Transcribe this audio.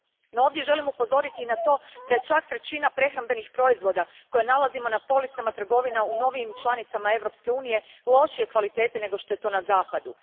No ovdje želim upozoriti na to da je čak trećina prehrambenih proizvoda koje nalazimo na policama trgovina u novijim članicama Europske unije lošije kvalitete nego što je to na zapadu.